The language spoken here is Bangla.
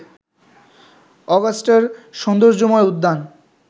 অগাস্টার সৌন্দর্যময় উদ্যান